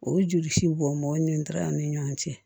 O jolisi bɔn ni dɔrɔn ni ɲɔgɔn cɛ